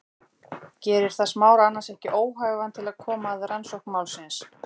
Gerir það Smára annars ekki óhæfan til að koma að rannsókn málsins?